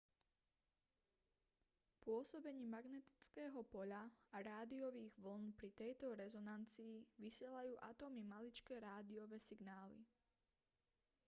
pôsobením magnetického poľa a rádiových vĺn pri tejto rezonancii vysielajú atómy maličké rádiové signály